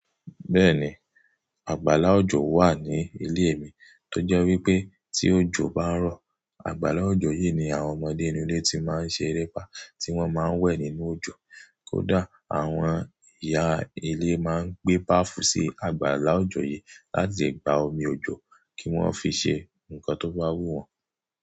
Bẹ́ẹ̀ni, àgbàlá òjò wà ní ilé mi, tó jẹ́ wípé tí òjò bá ń rọ̀, àgbàlá òjò yìí ni àwọn ọmọdé inú ilé tí máa ń ṣe erépá tí wọ́n máa ń wẹ̀ nínú òjò. Kódà àwọn ìyá ilé máa ń gbé báfù sí àgbàlá òjò yìí láti gba omi òjò kí wọ́n fi ṣe ǹkan tó bá wú wọn.